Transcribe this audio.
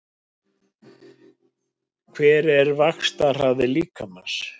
Hver er vaxtarhraði líkamans?